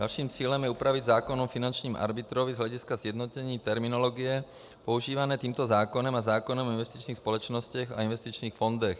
Naším cílem je upravit zákon o finančním arbitrovi z hlediska sjednocení terminologie používané tímto zákonem a zákonem o investičních společnostech a investičních fondech.